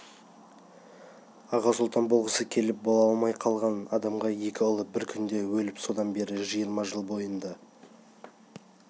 аға сұлтан болғысы келіп бола алмай қалған адамға екі ұлы бір күнде өліп содан бері жиырма жыл бойында